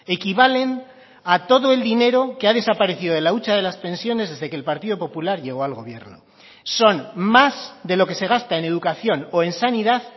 equivalen a todo el dinero que ha desaparecido de la hucha de las pensiones desde que el partido popular llegó al gobierno son más de lo que se gasta en educación o en sanidad